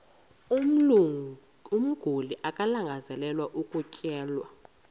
umguli alangazelelayo ukutyelelwa